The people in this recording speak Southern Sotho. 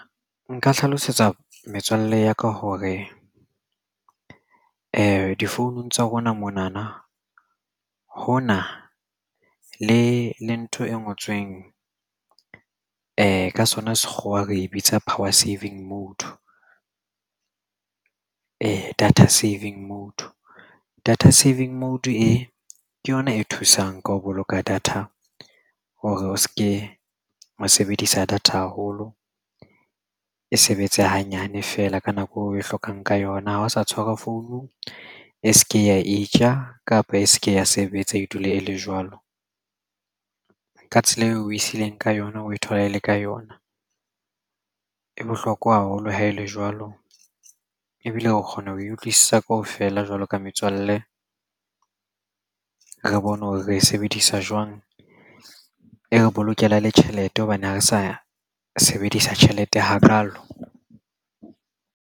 Nka hlalosetsa metswalle ya ka hore difounung tsa rona mona na ho na le ntho e ngotsweng ka sona Sekgowa re bitsa power saving mode data saving Mode.Data saving mode e ke yona e thusang ka ho boloka data o re o se ka mo sebedisa data haholo e sebetse hanyane fela ka nako eo o e hlokang ka yona. Ha o sa tshwara founu e se ke ya itja kapa e se ke ya sebetsa e dule e le jwalo ka tsela eo o e sileng ka yona o e thola e le ka yona. E bohlokwa haholo ha ele jwalo ebile re kgona ho e utlwisisa kaofela jwalo ka metswalle re bone hore re e sebedisa jwang e re bolokela le tjhelete hobane ha re sa sebedisa tjhelete hakalo.